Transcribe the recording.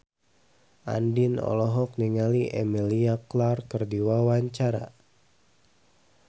Andien olohok ningali Emilia Clarke keur diwawancara